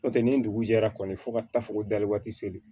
N'o tɛ ni dugu jɛra kɔni fɔ ka taa fɔ ko dali waati seli